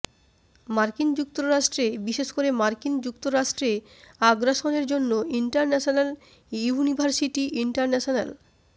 মার্কিন যুক্তরাষ্ট্রে বিশেষ করে মার্কিন যুক্তরাষ্ট্রে আগ্রাসনের জন্য ইন্টারন্যাশনাল ইউনিভার্সিটি ইন্টারন্যাশনাল